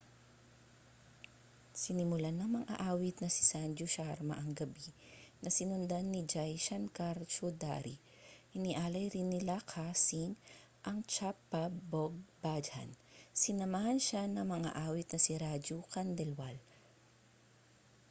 sinimulan ng mang-aawit na si sanju sharma ang gabi na sinundan ni jai shankar choudhary inialay rin ni lakkha singh ang chhappab bhog bhajan sinamahan siya ng mang-aawit na si raju khandelwal